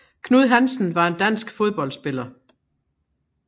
Knud Hansen var en dansk fodboldspiller